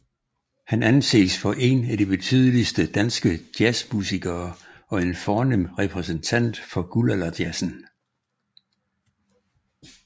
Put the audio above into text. Han anses for én af de betydeligste danske jazzmusikere og en fornem repræsentant for guldalderjazzen